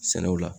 Sɛnɛw la